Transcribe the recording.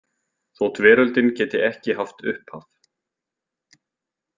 Þótt veröldin geti ekki haft upphaf.